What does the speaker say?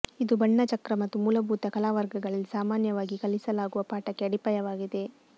ಇದು ಬಣ್ಣ ಚಕ್ರ ಮತ್ತು ಮೂಲಭೂತ ಕಲಾ ವರ್ಗಗಳಲ್ಲಿ ಸಾಮಾನ್ಯವಾಗಿ ಕಲಿಸಲಾಗುವ ಪಾಠಕ್ಕೆ ಅಡಿಪಾಯವಾಗಿದೆ